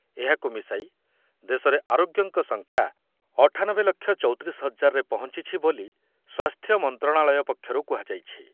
ଏହାକୁ ମିଶାଇ ଦେଶର ଆରୋଗ୍ୟଙ୍କ ସଂଖ୍ୟା ଅଠାନବେ ଲକ୍ଷ ଚଉତିରିଶି ହଜାରରେ ପହଞ୍ଚିଛି ବୋଲି ସ୍ବାସ୍ଥ୍ୟ ମନ୍ତ୍ରଣାଳୟ ପକ୍ଷରୁ କୁହାଯାଇଛି।